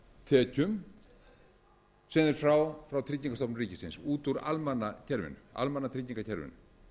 tekjum sem þeir fá frá tryggingastofnun ríkisins út úr almannatryggingakerfinu